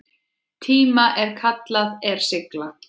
tíma sem kallað er sigla.